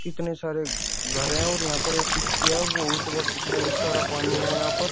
कितने सारे घर हैं और यहां पर एक किश्तियां बहुत ब बहुत सारा पानी है यहां पर।